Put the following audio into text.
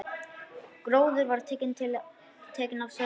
Gróður var tekinn að sölna.